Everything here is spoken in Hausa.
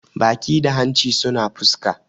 baki da hanci suna fuska